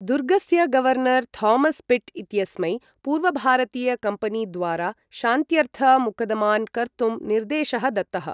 दुर्गस्य governor Thomas Pitt इत्यस्मै पूर्वभारतीयकम्पनीद्वारा शान्त्यर्थ मुकदमान् कर्तुं निर्देशः दत्तः ।